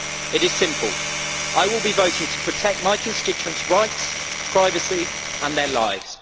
It is simple I will be voting to protect my constituents' rights, privacy and their lives.